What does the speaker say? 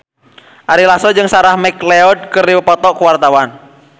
Ari Lasso jeung Sarah McLeod keur dipoto ku wartawan